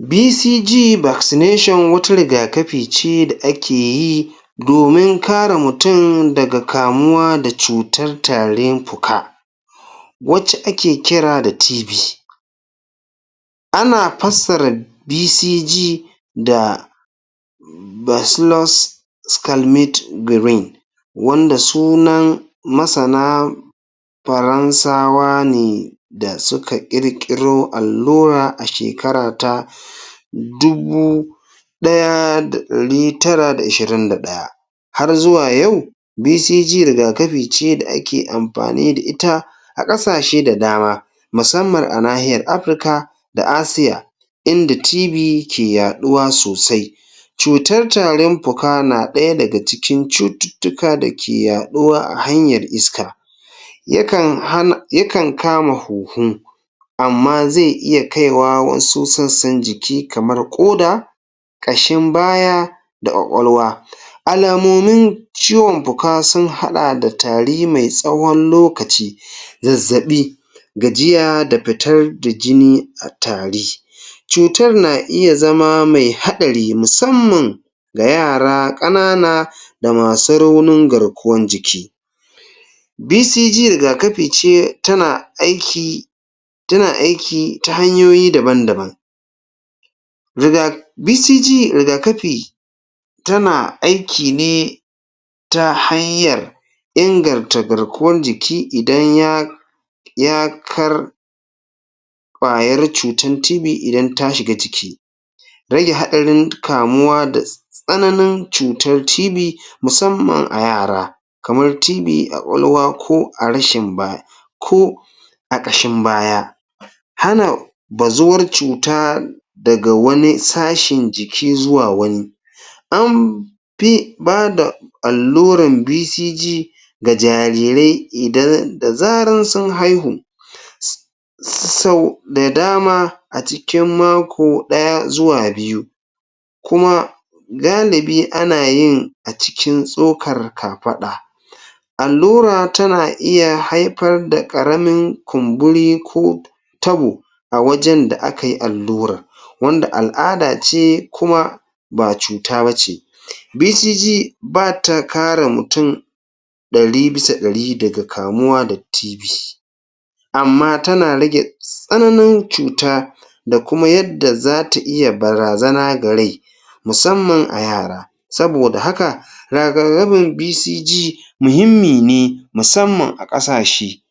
BCG Vaccination wata riga-kafi ce da ake yi domin kare mutum daga kamuwa da cutar tarin fuka, wacce ake kira da TB. Ana fassara BCG da Bacillus Calmette-Guerin wanda sunan masana Faransawa ne da suka ƙirƙiro allura a shekara ta dubu ɗaya da ɗari tara da ishirin da ɗaya Har zuwa yau, BCG riga-kafi ce da ake amfani da ita a ƙasashe da dama musamman a nahiyar Afirka da Asiya inda TB ke yaɗuwa sosai. Cutar tarin fuka na ɗaya daga cikin cututtuka da ke yaɗuwa a hanyar iska Yakan hana, yakan kama huhu amma zai iya kaiwa wasu sassan jiki, kamar ƙoda ƙashin baya da ƙwaƙwalwa. Alamomin ciwon fuka sun haɗa da tari mai tsawo lokaci, zazzaɓi, gajiya, da fitar da jini a tari. Cutar na iya zama mai haɗari musamman ga yara ƙanana da masu raunin garkuwar jiki. BCG riga-kafi ce tana aiki ta hanyoyi dabn-daban. Riga, BCG riga-kafi tana aiki ne ta hanyar inganta garkuwar jiki idan ya ya kar ƙwayar cutar TB idan ta shiga ciki. Rage haɗarin kamuwa da tsananin cutar TB musamman a yara, kamar TB a ƙwaƙwalwa ko a rashin bay, ko a ƙashin baya. Hana bazuwar cuta daga wani sashen jiki zuwa wani an fi ba da alluran BCG ga jarirai da zaran sun haihu. sau da dama a cikin mako ɗaya zuwa biyu, kuma galibi ana yin a cikin tsokar kafaɗa Allura tana iya haifar da ƙaramin kumburi ko tabo a wajen da aka yi allurar, wanda al'ada ce kuma ba cuta ba ce; BCG ba ta kare mutum ɗari bisa ɗari daga kamuwa da TB. amma tana rage tsananin cuta da kuma yadda za ta iya barazana ga rai musamman a yara. Saboda haka, riga-kafin BCG muhimmi ne, musamman a ƙasashe.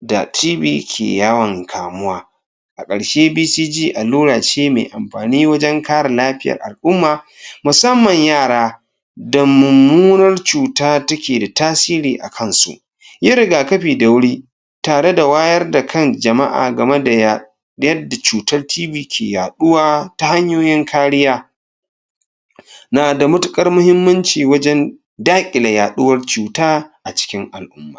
da TB ke yawon kamuwa. A ƙarshe BCG allura ce mai amfani wajen kare lafiyar al'umma, musamman yara da mummunar cuta take da tasiri a kansu. Yi riga-kafi da wuri tare da wayar da kan jama'a game da ya da yadda cutar TB ke yaɗuwa ta hanyoyin kariya. Na da matuƙar muhimmanci wajen yaɗuwar cuta a cikin al'umma.